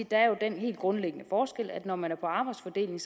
der er den helt grundlæggende forskel at når man er på arbejdsfordeling